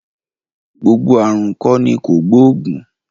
Gbogbo ààrùn kọ́ ni kògbóògùn